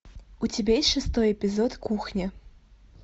у тебя есть шестой эпизод кухня